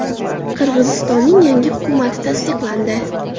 Qirg‘izistonning yangi hukumati tasdiqlandi.